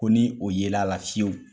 Ko ni o yela la fiyewu.